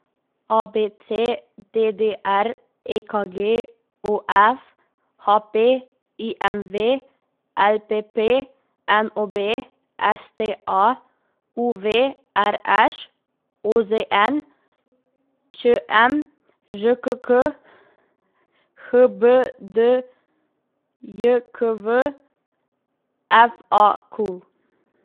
A B C; D D R; E K G; O F; H P; I M V; L P P; N O B; S T A; U V; R Š; O Z N; Č M; Ž K K; H B D J K V; F A Q.